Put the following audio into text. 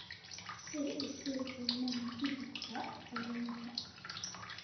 sir i sii qiimaha tigidhka tareenka